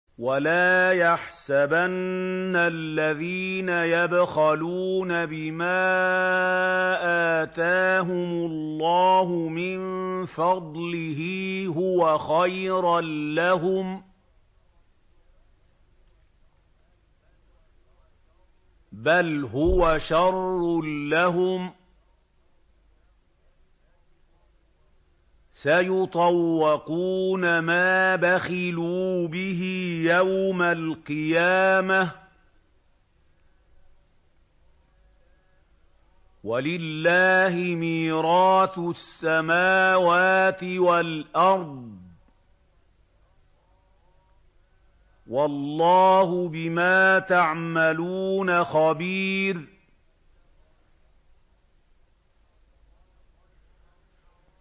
وَلَا يَحْسَبَنَّ الَّذِينَ يَبْخَلُونَ بِمَا آتَاهُمُ اللَّهُ مِن فَضْلِهِ هُوَ خَيْرًا لَّهُم ۖ بَلْ هُوَ شَرٌّ لَّهُمْ ۖ سَيُطَوَّقُونَ مَا بَخِلُوا بِهِ يَوْمَ الْقِيَامَةِ ۗ وَلِلَّهِ مِيرَاثُ السَّمَاوَاتِ وَالْأَرْضِ ۗ وَاللَّهُ بِمَا تَعْمَلُونَ خَبِيرٌ